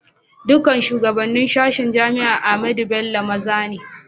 Dukan shugabanen sashen jami'an Ahmadu Bello maza ne.